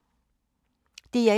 DR1